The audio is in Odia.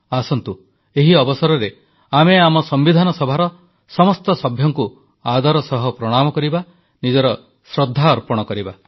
ଆସନ୍ତୁ ଏହି ଅବସରରେ ଆମେ ସମ୍ବିଧାନ ସଭାର ସମସ୍ତ ସଭ୍ୟଙ୍କୁ ଆଦର ସହ ପ୍ରଣାମ କରିବା ନିଜର ଶ୍ରଦ୍ଧାଞ୍ଜଳି ଅର୍ପଣ କରିବା